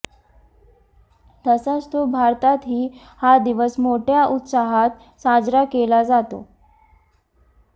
तसाच तो भारतातही हा दिवस मोठ्या उत्साहात साजरा केला जातो